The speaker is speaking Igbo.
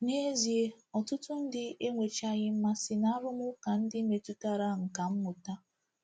N’ezie, ọtụtụ ndị enwechaghị mmasị n’arụmụka ndị metụtara nkà mmụta.